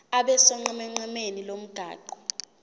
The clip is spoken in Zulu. abe sonqenqemeni lomgwaqo